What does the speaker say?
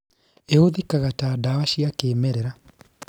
Īhũthĩkaga ta ndawa cia kĩmerera